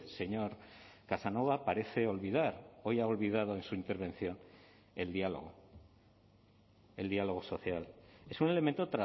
señor casanova parece olvidar hoy ha olvidado en su intervención el diálogo el diálogo social es un elemento